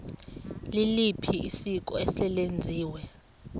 liliphi isiko eselenziwe